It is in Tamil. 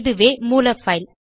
இதுவே மூல பைல்